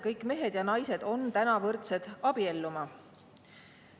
Kõik mehed ja naised on võrdsed abielluma.